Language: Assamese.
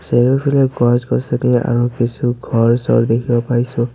চাৰিওফালে গছ-গছনি আৰু কিছু ঘৰ-চৰ দেখিব পাইছোঁ।